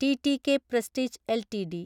TTK Prestige LTD